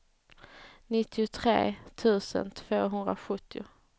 nittiotre tusen tvåhundrasjuttio